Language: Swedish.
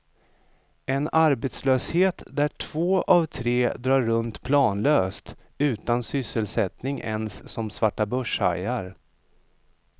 En arbetslöshet där två av tre drar runt planlöst, utan sysselsättning ens som svarta börshajar.